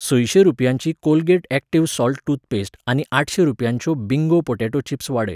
संयशें रुपयांची Colgate active salt toothpaste आनी आठशें रुपयांच्यो बिंगो पॉटॅटो चिप्स वाडय.